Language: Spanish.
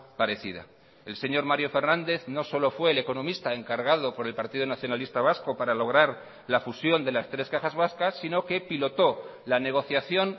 parecida el señor mario fernández no solo fue el economista encargado por el partido nacionalista vasco para lograr la fusión de las tres cajas vascas sino que pilotó la negociación